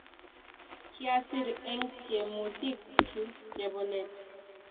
kiasir eng' tyemutik chu chebo let